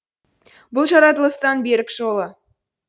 бұл жаратылыстың берік жолы